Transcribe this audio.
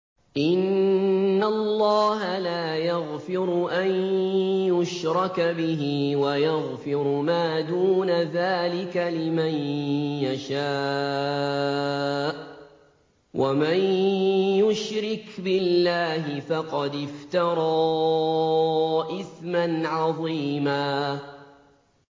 إِنَّ اللَّهَ لَا يَغْفِرُ أَن يُشْرَكَ بِهِ وَيَغْفِرُ مَا دُونَ ذَٰلِكَ لِمَن يَشَاءُ ۚ وَمَن يُشْرِكْ بِاللَّهِ فَقَدِ افْتَرَىٰ إِثْمًا عَظِيمًا